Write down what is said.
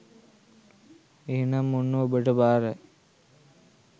එහෙනම් ඔන්න ඔබට බාරයි